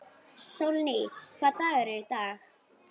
Sólný, hvaða dagur er í dag?